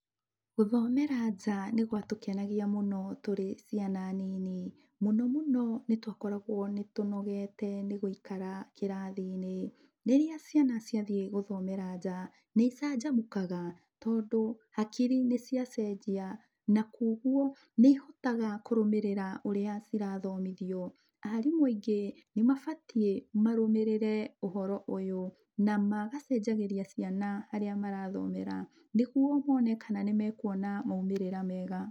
Gũthomera nja nĩ gwatũkenagia mũno tũrĩ ciana nini. Mũno mũno nĩ twakoragwo nĩ tũnogete nĩ gũikara kĩrathi-inĩ. Rĩrĩa ciana ciathiĩ gũthomera nja, nĩ icanjamũkaga tondũ hakiri nĩ ciacenjia, na koguo, nĩ ihotaga kũrũmĩrĩra ũrĩa cirathomithio. Arimũ aingĩ nĩ mabatiĩ marũmĩrĩre ũhoro ũyũ, na magacenjagĩria ciana harĩa marathomera, nĩguo mone kana nĩ mekuona maumĩrĩra mega.